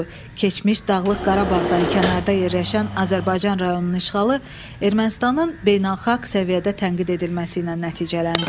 Keçmiş Dağlıq Qarabağdan kənarda yerləşən Azərbaycan rayonunun işğalı Ermənistanın beynəlxalq səviyyədə tənqid edilməsi ilə nəticələndi.